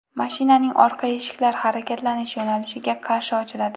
Mashinaning orqa eshiklar harakatlanish yo‘nalishiga qarshi ochiladi.